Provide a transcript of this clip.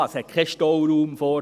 es hat keinen Stauraum davor.